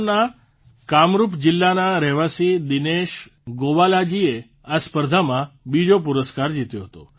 અસમના કામરૂપ જીલ્લાના રહેવાસી દિનેશ ગોવાલાજીએ આ સ્પર્ધામાં બીજો પુરસ્કાર જીત્યો હતો